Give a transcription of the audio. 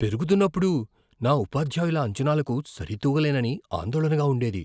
పెరుగుతున్నపుడు, నా ఉపాధ్యాయుల అంచనాలకు సరితూగలేనని ఆందోళనగా ఉండేది.